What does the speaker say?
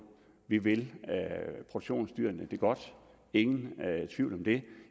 vi vil produktionsdyrene det godt ingen tvivl om det